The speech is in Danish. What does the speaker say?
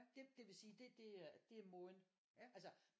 Det vil sige det det er måden altså